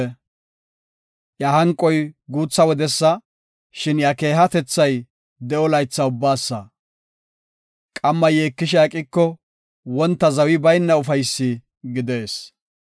Iya hanqoy guutha wodesa, shin iya keehatethay de7o laytha ubbaasa. Qamma yeekishe aqiko, wonta zawi bayna ufaysi gidees.